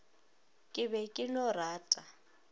ke be ke no rata